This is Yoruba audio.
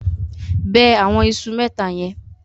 Bẹ àwọn iṣu mẹ́ta yẹn.